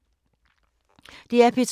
DR P2